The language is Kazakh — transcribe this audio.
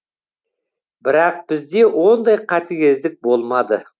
бірақ бізде ондай қатігездік болмады